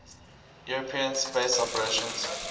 european space operations